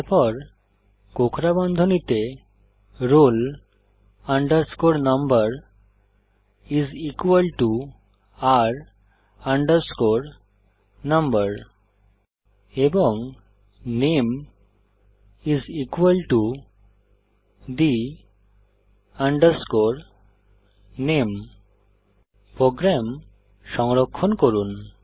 তারপর কোঁকড়া বন্ধনীতে roll number is equal to r no এবং নামে is equal to the name program সংরক্ষণ করুন